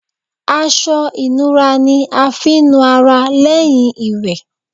Aṣọ ìnura ni a fi ń nu ara lẹ́yìn ìwẹ̀.